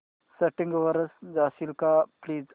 settings वर जाशील का प्लीज